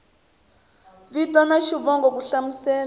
vito na xivongo ku hlamusela